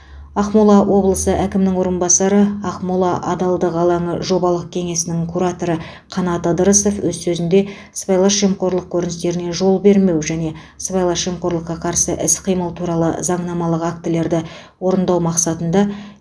ақмола облысы әкімінің орынбасары ақмола адалдық алаңы жобалық кеңсесінің кураторы қанат ыдырысов өз сөзінде сыбайлас жемқорлық көріністеріне жол бермеу және сыбайлас жемқорлыққа қарсы іс қимыл туралы заңнамалық актілерді орындау мақсатында